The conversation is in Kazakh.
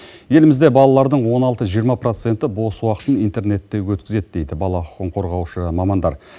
елімізде балалардың он алты жиырма проценті бос уақытын интернетте өткізеді дейді бала құқығын қорғаушы мамандар